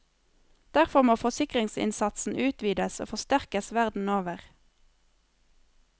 Derfor må forskningsinnsatsen utvides og forsterkes verden over.